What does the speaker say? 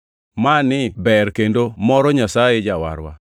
Mani ber kendo moro Nyasaye Jawarwa,